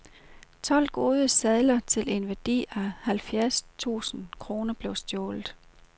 Tolv gode sadler til en værdi af halvfjerds tusind kroner blev stjålet.